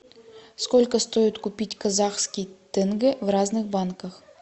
сколько стоит купить казахский тенге в разных банках